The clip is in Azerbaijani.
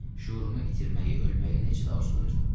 Şüurumu itirməyi, ölməyi necə də arzulayırdım.